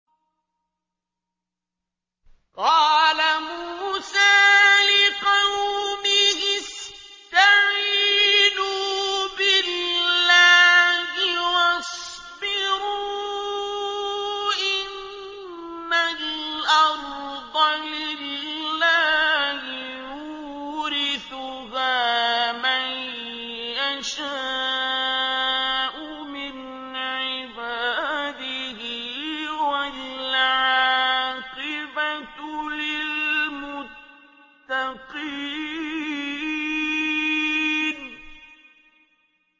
قَالَ مُوسَىٰ لِقَوْمِهِ اسْتَعِينُوا بِاللَّهِ وَاصْبِرُوا ۖ إِنَّ الْأَرْضَ لِلَّهِ يُورِثُهَا مَن يَشَاءُ مِنْ عِبَادِهِ ۖ وَالْعَاقِبَةُ لِلْمُتَّقِينَ